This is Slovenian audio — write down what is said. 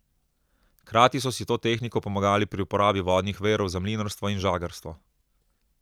Hkrati so si s to tehniko pomagali pri uporabi vodnih virov za mlinarstvo in žagarstvo.